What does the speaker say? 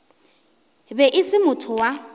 be e se motho wa